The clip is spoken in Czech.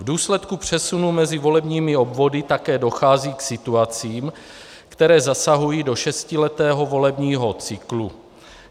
V důsledku přesunu mezi volebními obvody také dochází k situacím, které zasahují do šestiletého volebního cyklu.